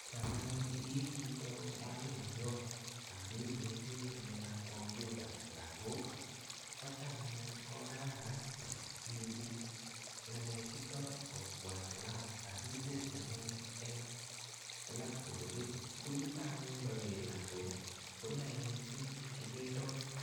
Cham anyun ii chito mwalimuiyot, akineti ng'alekap kompyuta lagok, kocham anyun ko kararan iibu ng'alechuto kobwa kilas. Akisirchi anyun eng blackbodit. Ko yutok anyun ndager lagok, konae missing tukche kiyoitoi.